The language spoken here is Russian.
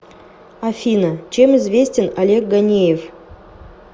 афина чем известен олег ганеев